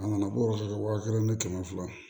A nana ko yɔrɔ kelen ni kɛmɛ fila